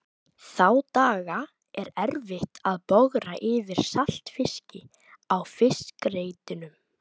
Þá daga er erfitt að bogra yfir saltfiski á fiskreitunum.